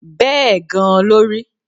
Bẹ́ẹ̀ gan-an ló rí